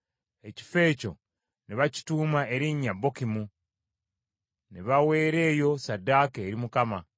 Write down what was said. Ekifo ekyo ne bakituuma erinnya Bokimu; ne baweera eyo Ssaddaaka eri Mukama .